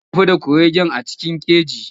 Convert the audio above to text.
Mun tafi da kuregen a cikin keji.